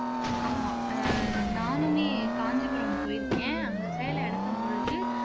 ஆமா அஹ் நானுமே காஞ்சிபுரம் போயிருக்கேன் அங்க சேலை எடுக்கும் பொழுது